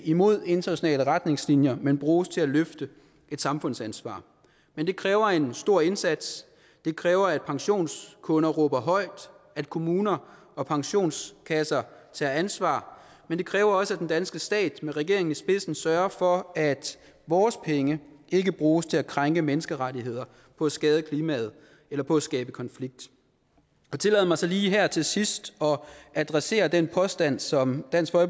imod internationale retningslinjer men bruges til at løfte et samfundsansvar men det kræver en stor indsats det kræver at pensionskunder råber højt og at kommuner og pensionskasser tager ansvar men det kræver også at den danske stat med regeringen i spidsen sørger for at vores penge ikke bruges til at krænke menneskerettigheder på at skade klimaet eller på at skabe konflikt jeg tillader mig så lige her til sidst at adressere den påstand som dansk